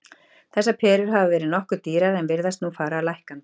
Þessar perur hafa verið nokkuð dýrar en virðast nú fara lækkandi.